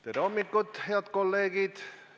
Tere hommikust, head kolleegid!